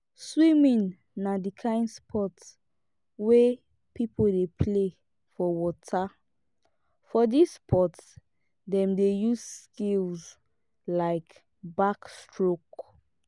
swimming na di kind sport wey pipo dey play for water for this sport dem dey use skill like backstroke